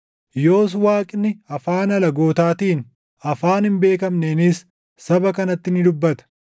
Yoos Waaqni afaan alagootaatiin, afaan hin beekamneenis saba kanatti ni dubbata;